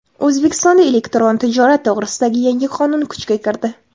O‘zbekistonda elektron tijorat to‘g‘risidagi yangi qonun kuchga kirdi.